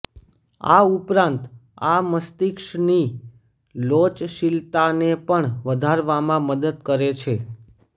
આ ઉપરાંત આ મસ્તિષ્કની લોચશીલતાને પણ વધારવામાં મદદ કરે છે